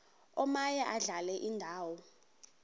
omaye adlale indawo